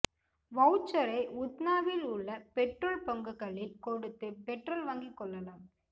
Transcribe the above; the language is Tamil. வவுச்சரை உத்னாவில் உள்ள பெட்ரோல் பங்குகளில் கொடுத்து பெட்ரோல் வாங்கிக் கொள்ளலாம்